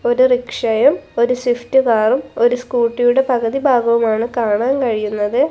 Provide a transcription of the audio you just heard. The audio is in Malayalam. ഒരു റിക്ഷയും ഒരു സ്വിഫ്റ്റ് കാറും ഒരു സ്കൂട്ടിയുടെ പകുതി ഭാഗവുമാണ് കാണാൻ കഴിയുന്നത്.